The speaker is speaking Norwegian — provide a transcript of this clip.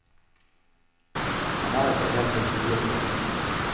Han er ikke helt å stole på.